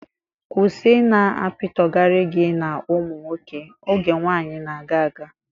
Kwụsị ị na-apitọgara gị na ụmụ nwoke. Oge nwaanyị na-aga aga!